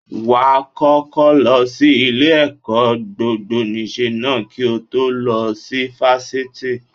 Wàá kọ́kọ́ lọ sí ilé-ẹ̀kọ́ gbogboníṣe ná kí o tó lọ sí Fáṣítì